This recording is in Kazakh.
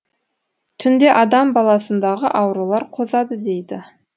түнде адам баласындағы аурулар қозады дейді